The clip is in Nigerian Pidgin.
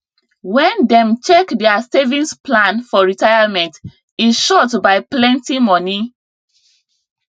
when dem check their savings plan for retirement e short by plenty money